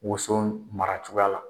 Woso mara cogoya la